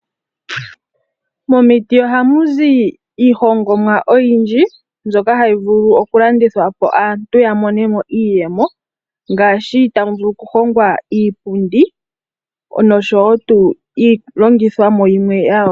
Momiti ohamu zi iihongomwa oyindji, mbyoka hayi vulu okulandithwa po, opo aantu yamonemo iiyemo. Ohamu vulu okuhongwa iipundi, noshowo iilongithomwa yimwe ya yooloka.